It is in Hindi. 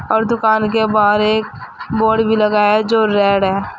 और दुकान के बाहर एक बोर्ड भी लगाया जो रेड है।